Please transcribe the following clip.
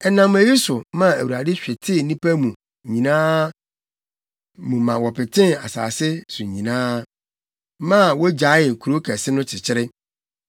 Ɛnam eyi so maa Awurade hwetee nnipa no nyinaa mu ma wɔpetee asase so nyinaa, maa wogyaee kurow kɛse no kyekyere.